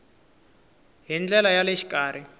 hi ndlela ya le xikarhi